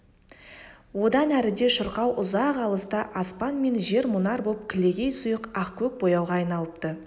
одан әріде шырқау ұзақ алыста аспан мен жер мұнар боп кілегей сұйық ақкөк бояуға айналыпты